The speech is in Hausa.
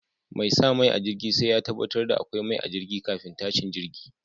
Mai sa mai a jirgi sai ya tabbatar da akwai mai a jirgi kafin tashin jirgi.